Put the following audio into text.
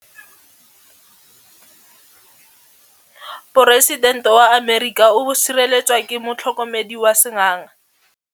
Poresitêntê wa Amerika o sireletswa ke motlhokomedi wa sengaga.